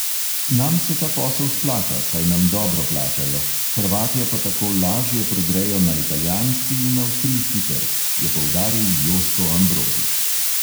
Nam se ta posel splača, saj nam dobro plačajo, hrvatje pa tako lažje prodrejo na italijanski in avstrijski trg, je poudaril joško ambrožič.